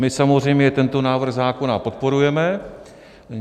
My samozřejmě tento návrh zákona podporujeme.